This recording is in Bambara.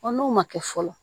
n'o ma kɛ fɔlɔ